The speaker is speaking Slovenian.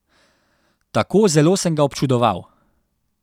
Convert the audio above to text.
Tako zelo sem ga občudoval.